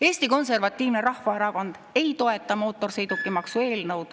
Eesti Konservatiivne Rahvaerakond ei toeta mootorsõidukimaksu eelnõu.